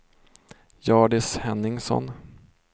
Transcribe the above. Hjördis Henningsson